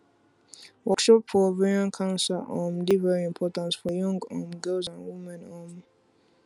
workshop for ovarian cancer um dey very important for young um girls and women um